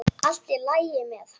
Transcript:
Allt í lagi með hann!